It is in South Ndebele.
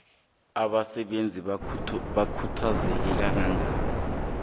abasebenzi bakhuthazeke kangangani